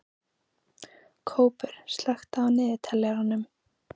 Kópur, slökktu á niðurteljaranum.